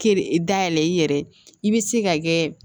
Kere dayɛlɛ i yɛrɛ i bɛ se ka kɛ